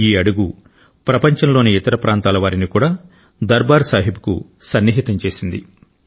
ఈ అడుగు ప్రపంచంలోని ఇతర ప్రాంతాల వారిని కూడా దర్బార్ సాహిబ్కు సన్నిహితం చేసింది